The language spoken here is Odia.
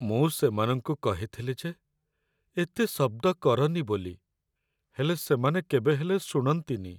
ମୁଁ ସେମାନଙ୍କୁ କହିଥିଲି ଯେ ଏତେ ଶବ୍ଦ କରନି ବୋଲି, ହେଲେ ସେମାନେ କେବେ ହେଲେ ଶୁଣନ୍ତିନି ।